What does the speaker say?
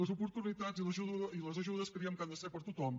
les oportunitats i les ajudes creiem que han de ser per a tothom